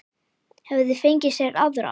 Hefði fengið sér aðra.